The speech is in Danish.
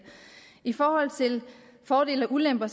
i forhold til fordele og ulemper